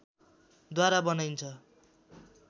द्वारा बनाइन्छ